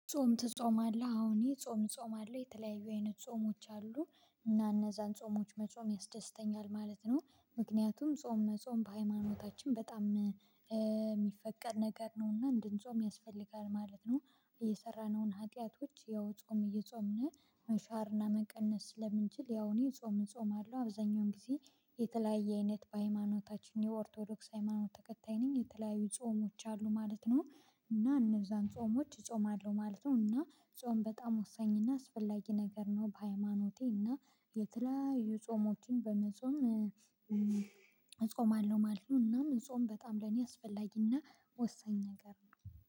ጾም ትጾማለህ? አዎን ጾም ጾም አለው የተለያዩ አይነት ጾሞች አሉ እና እነዛን ጾሞች መጾም ያስደስተኛል ማለት ነው። ምክንያቱም ጾም መጾም በሃይማኖታችን በጣም የሚፈቀድ ነገር ነው እና እንድንጾም ያስፈልጋል ማለት ነው። እየሰራነውን ሀጢያቶች ያው ጾም እየጾምን መሻርና መቀነስ ስለምንችል ያው እኔ ጾም እጾማለው አብዛኛውን ጊዜ። የተለያየ አይነት በሃይማኖታችን የኦርቶዶክስ ሃይማኖት ተከታይ ነኝ የተለያዩ ጾሞች አሉ ማለት ነው። እና እነዛን ጾሞች እጾማለሁ ማለት ነው። እና ጾም በጣም ወሳኝ እና አስፈላጊ ነገር ነው በሃይማኖቴ እና የተለያዩ ጾሞችን በመጾም እጾማለሁ ማለቱ ነው። እናም ጾም በጣም ለኔ አስፈላጊና ወሰኝ ነገር ነው